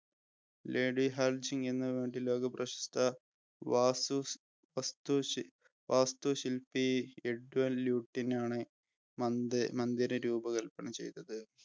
ലോകപ്രശസ്ത വാസ്തു വസ്തുശി വാസ്തുശിപ്പി എഡ്വിൻ ല്യൂട്ടിനാണ് മന്ദി മന്ദിരം രൂപകൽപ്പന ചെയ്തത്